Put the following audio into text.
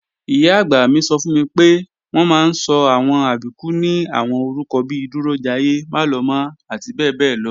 Ìyá-àgbà mi sọ fún mi pé, wọ́n máa ń sọ àwọn Àbíkú ní àwọn orúkọ bi Dúrójayé, Málọmọ́ àti bẹ́ẹ̀bẹ́ẹ́lọ